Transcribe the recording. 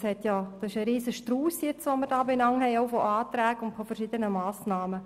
Was hier an verschiedenen Anträgen und Massnahmen vorliegt, ist ein riesiger Strauss.